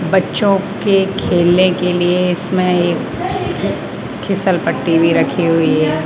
बच्चों के खेलने के लिए इसमें एक खीसल पट्टी भी रखी हुई है।